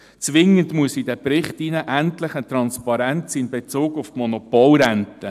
Zwingend muss in den Bericht endlich eine Transparenz in Bezug auf die Monopolrente: